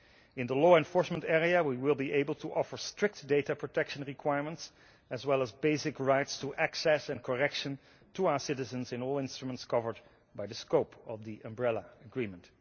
In the law enforcement area, we will be able to offer strict data protection requirements as well as basic rights to access and correction to our citizens in all instruments covered by the scope of the Umbrella Agreement.